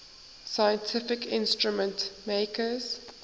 scientific instrument makers